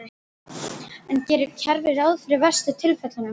En gerir kerfið ráð fyrir verstu tilfellunum?